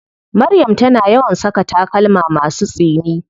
Maryam tana yawan saka takalma masu tsini.